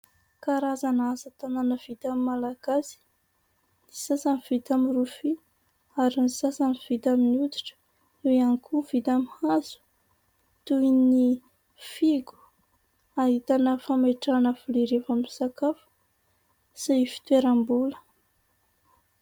Karazana asatanana vitan'ny Malagasy. Ny sasany vita amin'ny rofia ary ny sasany vita amin 'ny hoditra ; eo ihany koa ny vita amin'ny hazo toy ny fihogo, ahitana fametrahana vilia rehefa misakafo sy fitoeram-bola.